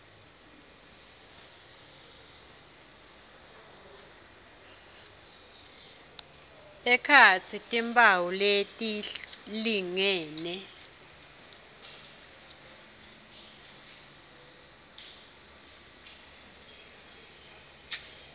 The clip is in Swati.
ekhatsi timphawu letilingene